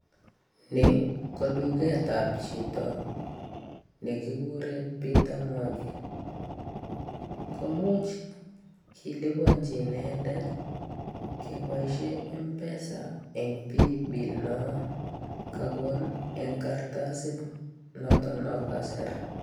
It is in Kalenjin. ni koduket ap chito negigure peter mwangi. komuch kelipanjin inendet kepaishe mpesa eng paybill no kakon eng kartasit notk kasir.